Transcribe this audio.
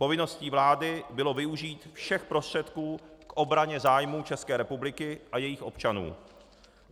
Povinností vlády bylo využít všech prostředků k obraně zájmů České republiky a jejích občanů.